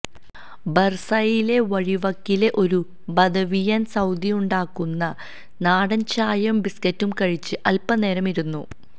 ബർസയിലെ വഴിവക്കിലെ ഒരു ബദവിയൻ സൌദിയുണ്ടാക്കുന്ന നാടൻ ചായയും ബിസ്ക്കറ്റും കഴിച്ച് അൽപനേരം ഇരുന്നു